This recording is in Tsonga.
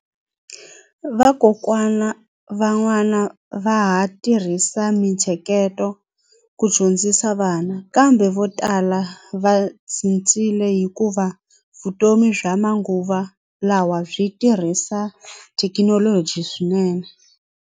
Vakokwana van'wana va ha tirhisa mintsheketo ku dyondzisa vana kambe vo tala va cincile hikuva vutomi bya manguva lawa byi tirhisa thekinoloji swinene.